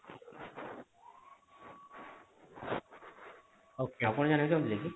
Okay ଆଉ କଣ ଜାଣିବାକୁ ଚାହୁଁଥିଲେ କି